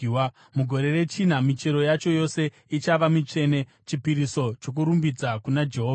Mugore rechina, michero yacho yose ichava mitsvene, chipiriso chokurumbidza kuna Jehovha.